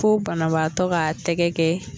Fo banabaatɔ k'a tɛgɛ kɛ